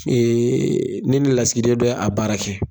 ne ni lasigiden dɔ y'a baara kɛ.